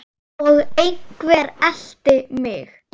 Og einhver elti mig.